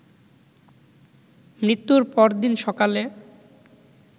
মৃত্যুর পরদিন সকালে